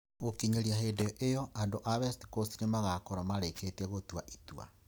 Gũkinyĩria hĩndĩ ĩyo, andũ a West Coast nĩ magaakorũo marĩkĩtie gũtua itua.